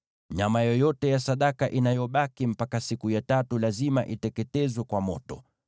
Nyama yoyote ya sadaka inayobaki mpaka siku ya tatu lazima iteketezwe kwa moto.